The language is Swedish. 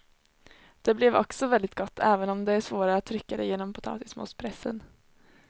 Det blev också väldigt gott även om det är svårare att trycka det genom potatismospressen.